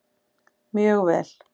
Mjög vel